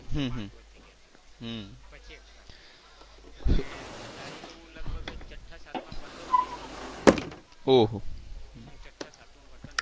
પછી expired થઈ ગયા ને દાદી તો લગભગ હું છઠા સાતમા માં ભણતો તો એ વખતે expired થઈ ગયા તા હું છઠા સાતમા માં ભણતો એ વખતે.